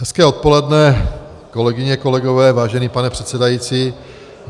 Hezké odpoledne, kolegyně, kolegové, vážený pane předsedající.